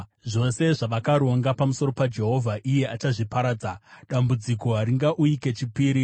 Zvose zvavakaronga pamusoro paJehovha iye achazviparadza; dambudziko haringauyi kechipiri.